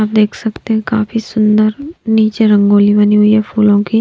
आप देख सकते हैं काफी सुंदर नीचे रंगोली बनी हुई है फूलों की--